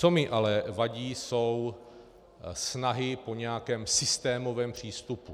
Co mi ale vadí, jsou snahy po nějakém systémovém přístupu.